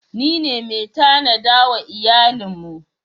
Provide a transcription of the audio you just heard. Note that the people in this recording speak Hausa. Ni ne mai tanada wa iyalin mu.